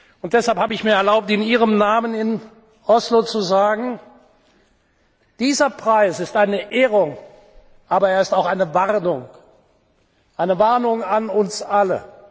Und deshalb habe ich mir erlaubt, in Ihrem Namen in Oslo zu sagen Dieser Preis ist eine Ehrung, aber er ist auch eine Warnung, eine Warnung an uns